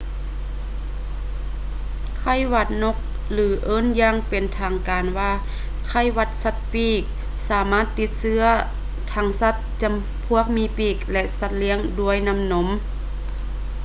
ໄຂ້ຫວັດນົກ ຫຼື ເອີ້ນຢ່າງເປັນທາງການວ່າ ໄຂ້ຫວັດສັດປີກ ສາມາດຕິດເຊື້ອທັງສັດຈຳພວກມີປີກ ແລະ ສັດລ້ຽງລູກດ້ວຍນ້ຳນົມ